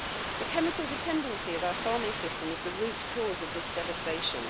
The chemical dependency of our farming system is the root cause of this devastation.